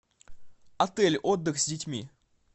отель отдых с детьми